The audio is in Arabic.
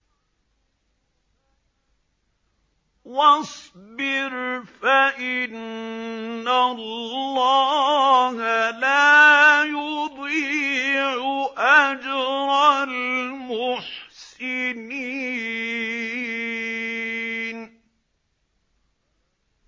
وَاصْبِرْ فَإِنَّ اللَّهَ لَا يُضِيعُ أَجْرَ الْمُحْسِنِينَ